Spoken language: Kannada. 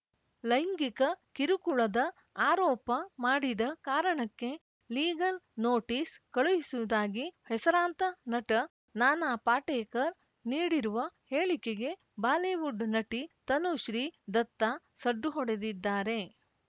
ಲೈಂಗಿಕ ಕಿರುಕುಳದ ಆರೋಪ ಮಾಡಿದ ಕಾರಣಕ್ಕೆ ಲೀಗಲ್‌ ನೋಟಿಸ್‌ ಕಳುಹಿಸುವುದಾಗಿ ಹೆಸರಾಂತ ನಟ ನಾನಾ ಪಾಟೇಕರ್‌ ನೀಡಿರುವ ಹೇಳಿಕೆಗೆ ಬಾಲಿವುಡ್‌ ನಟಿ ತನುಶ್ರೀ ದತ್ತಾ ಸಡ್ಡು ಹೊಡೆದಿದ್ದಾರೆ